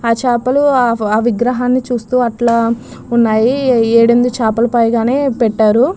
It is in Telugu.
ఆ చాపలు ఆ విగ్రహాన్ని చూస్తూ అట్లా ఉన్నాయి. ఏడూ ఎనిమిది చాపలు పైగానే పెట్టారు.